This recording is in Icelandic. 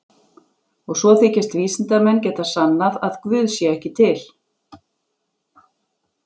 Og svo þykjast vísindamenn geta sannað að guð sé ekki til.